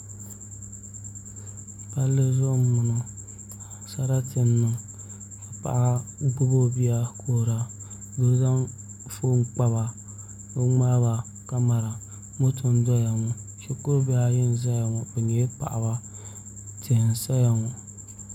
Palli zuɣu n boŋo sarati n niŋ ka paɣa gbubi o bia ka kuhura ka doo zaŋ foon kpaba ni o ŋmaaba kamɛra moto n doya ŋo shikuru bihi ayi n ʒɛya ŋo bi nyɛla paɣaba tihi n saya ŋo